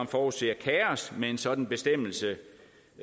forudser kaos med en sådan bestemmelse